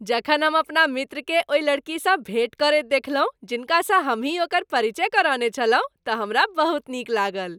जखन हम अपना मित्रकेँ ओहि लड़कीसँ भेट करैत देखलहुँ जिनकासँ हमहि ओकर परिचय करौने छलहुँ तऽ हमरा बहुत नीक लागल।